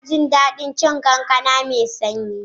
Ina jin daɗin cin kankana mai sanyi.